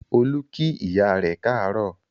Olú kí ìyá rẹ káàárọ̀